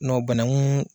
Nɔn banakun